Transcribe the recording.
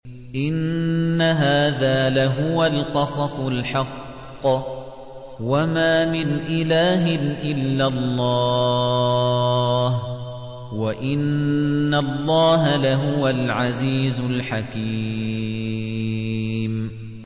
إِنَّ هَٰذَا لَهُوَ الْقَصَصُ الْحَقُّ ۚ وَمَا مِنْ إِلَٰهٍ إِلَّا اللَّهُ ۚ وَإِنَّ اللَّهَ لَهُوَ الْعَزِيزُ الْحَكِيمُ